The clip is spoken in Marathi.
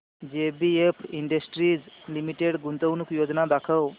जेबीएफ इंडस्ट्रीज लिमिटेड गुंतवणूक योजना दाखव